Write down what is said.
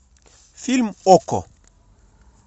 фильм окко